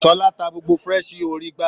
Sola ta gbogbo fresh yo orí igbá.